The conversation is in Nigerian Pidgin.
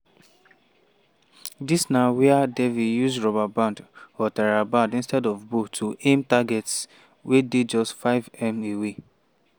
dis na wia devi use rubber band or theraband instead of bow to aim targets wey dey just 5m away.